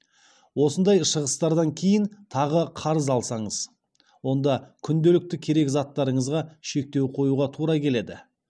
осындай шығыстардан кейін тағы қарыз алсаңыз онда күнделікті керек заттарыңызға шектеу қоюға тура келеді